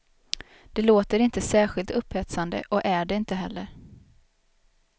Det låter inte särskilt upphetsande och är det inte heller.